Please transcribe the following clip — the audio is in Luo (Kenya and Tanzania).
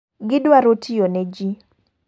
Gidwaro tiyo ne ji.